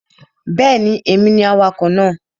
Bẹ́ẹ̀ni, èmi ni awakọ̀ náà